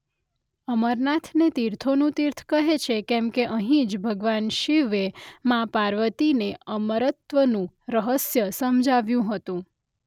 અમરનાથને તીર્થોનું તીર્થ કહે છે કેમકે અહીં જ ભગવાન શિવે માઁ પાર્વતીને અમરત્વનું રહસ્ય સમજાવ્યું હતું.